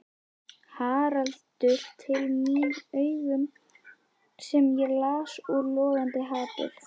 Haraldur til mín augum sem ég las úr logandi hatur.